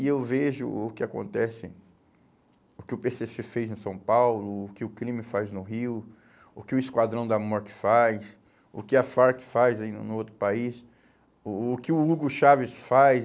E eu vejo o que acontece, o que o pê cê cê fez em São Paulo, o que o crime faz no Rio, o que o Esquadrão da Morte faz, o que a FARC faz aí no no no outro país, o o que o Hugo Chávez faz.